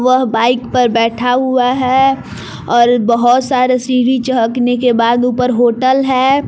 वह बाइक पर बैठा हुआ है और बहुत सारे सीढ़ी चहगने के बाद ऊपर होटल है।